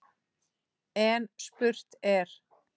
En spurt er: